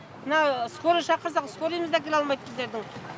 мына скорый шақырсақ скорыйымыз да кіре алмайды біздердің